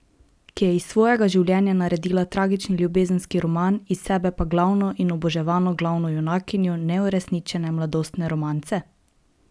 Ki je iz svojega življenja naredila tragični ljubezenski roman, iz sebe pa glavno in oboževano glavno junakinjo neuresničene mladostne romance?